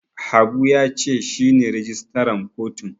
Habu ya ce shi ne rijistaran kotun.